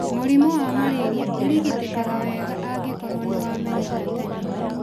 Mũrimũ wa malaria ũrigitĩkaga wega angĩkorwo nĩ wamenyeka tene.